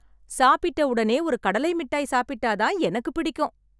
சாப்பிட்ட உடனே ஒரு கடலை மிட்டாய் சாப்பிட்டா தான் எனக்கு பிடிக்கும்.